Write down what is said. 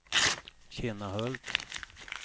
Kinnahult